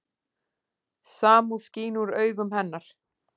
Samúð skín úr augum hennar.